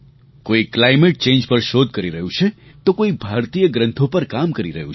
કોઈ climate change પર શોધ કરી રહ્યું છે તો કોઈ ભારતીય ગ્રંથો પર કામ કરી રહયું છે